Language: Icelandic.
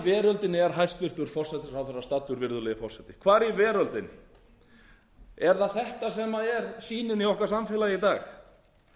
veröldinni er hæstvirtur forsætisráðherra staddur virðulegi forseti hvar í veröldinni er það þetta sem er sýnin í okkar samfélagi í dag